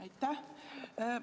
Aitäh!